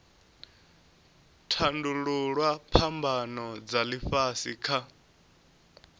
tandululwa phambano dza ifhasi kha